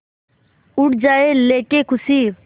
उड़ जाएं लेके ख़ुशी